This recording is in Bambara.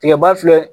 Tigɛba filɛ